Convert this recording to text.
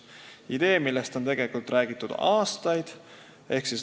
See on idee, millest on tegelikult räägitud aastaid.